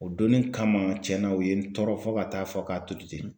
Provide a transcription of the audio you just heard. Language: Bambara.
O donnin kama cɛna o ye n tɔɔrɔ fɔ ka taa fɔ k'a to ye ten